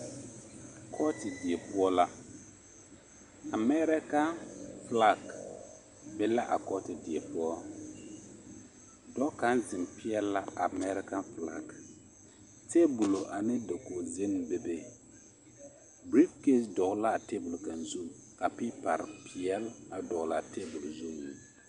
Kɔɔte die poɔ la Amɛrekaŋ filaki be la a kɔɔte die poɔ, dɔɔ kaŋ zeŋ peɛle la a Amɛrekaŋ filaki, teebolo ane dakogi zenne bebe, birifiketi dɔgele l'a teebol kaŋ zu ka piipare peɛle a dɔgele a teebol zuŋ.